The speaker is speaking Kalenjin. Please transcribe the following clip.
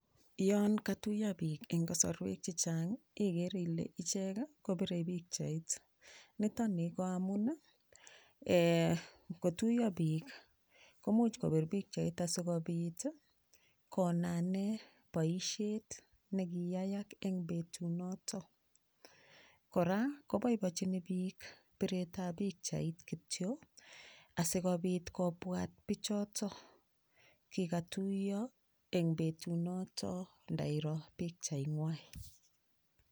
Yoon katuyo piik eng kasarwek chechang igere Ile ichek kopirei pikchait nitoni ko amun ngotuyo piik komuch kopir pikchait asikobit konanee boishet nekiyayak eng betunoto kora koboibochini piik piret ab pikchait kityo asikobit kobwat pichoto kikatuiyo eng betunoto ndairo pikchai ngwai